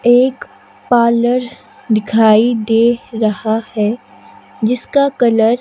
एक पार्लर दिखाई दे रहा है जिसका कलर --